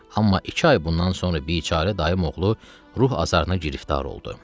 Amma iki ay bundan sonra biçara dayıoğlu ruh azarına giriftar oldu.